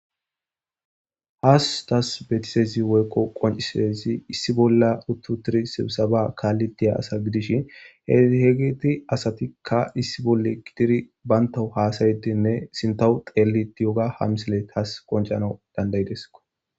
has tas betisezi woykko qoncisezi issi bolla uttu tiri sibisaba kaalli tiya asa gidishin hhegiti asatikka issi bolle gidiri bayntau haasayedinne sintahu xeelli diyoga hamsile taas qoncanau dandayideso